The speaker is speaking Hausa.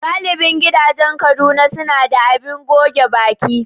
Galibi gidajen Kaduna suna da abin goge baki.